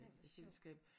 Ej hvor sjovt